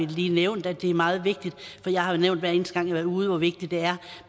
lige nævnt at det er meget vigtigt jeg har jo nævnt hver eneste har været ude hvor vigtigt det er